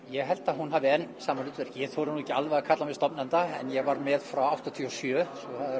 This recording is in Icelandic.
ég held að hún hafi enn sama hlutverk ég þori nú ekki alveg að kalla mig stofnanda en ég var með frá áttatíu og sjö